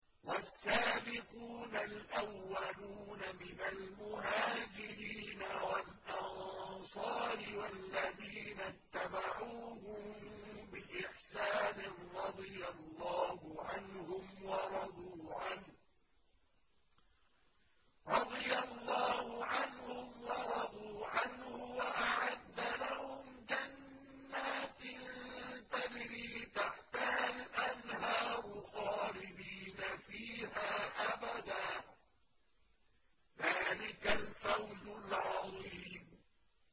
وَالسَّابِقُونَ الْأَوَّلُونَ مِنَ الْمُهَاجِرِينَ وَالْأَنصَارِ وَالَّذِينَ اتَّبَعُوهُم بِإِحْسَانٍ رَّضِيَ اللَّهُ عَنْهُمْ وَرَضُوا عَنْهُ وَأَعَدَّ لَهُمْ جَنَّاتٍ تَجْرِي تَحْتَهَا الْأَنْهَارُ خَالِدِينَ فِيهَا أَبَدًا ۚ ذَٰلِكَ الْفَوْزُ الْعَظِيمُ